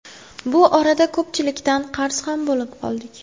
Bu orada ko‘pchilikdan qarz ham bo‘lib qoldik.